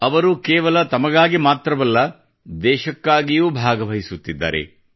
ಅವರು ಕೇವಲ ತಮಗಾಗಿ ಮಾತ್ರವಲ್ಲ ದೇಶಕ್ಕಾಗಿಯೂ ಭಾಗವಹಿಸುತ್ತಿದ್ದಾರೆ